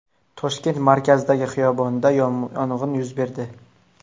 Toshkent markazidagi xiyobonda yong‘in yuz berdi.